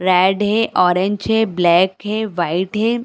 Red है orange है black है वाइट है।